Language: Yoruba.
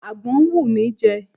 Àgbọn ń wù mí jẹ.